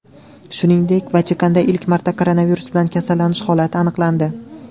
Shuningdek, Vatikanda ilk marta koronavirus bilan kasallanish holati aniqlandi .